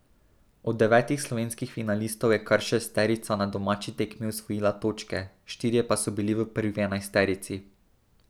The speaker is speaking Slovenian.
Od devetih slovenskih finalistov je kar šesterica na domači tekmi osvojila točke, štirje pa so bili v prvi enajsterici.